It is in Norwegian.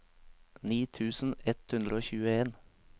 ni tusen ett hundre og tjueen